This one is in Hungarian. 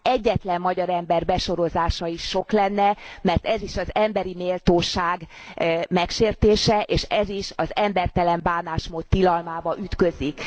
Egyetlen magyar ember besorozása is sok lenne, mert ez is az emberi méltóság megsértése, és ez is az embertelen bánásmód tilalmába ütközik.